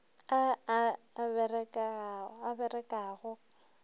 a a a berekago ga